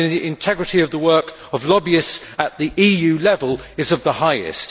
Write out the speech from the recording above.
integrity of the work of lobbyists at the EU level is of the highest.